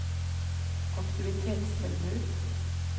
aktivitetstilbud